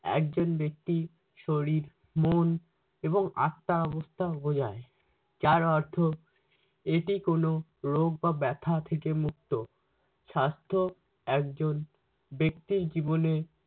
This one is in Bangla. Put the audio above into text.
একজন ব্যক্তি শরীর মন এবং আত্মা অবস্থা বুঝায় যার অর্থ এটি কোনো রোগ বা ব্যথা থেকে মুক্ত। স্বাস্থ্য একজন ব্যক্তির জীবনে